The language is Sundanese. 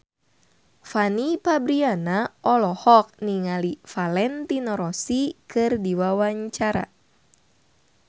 Fanny Fabriana olohok ningali Valentino Rossi keur diwawancara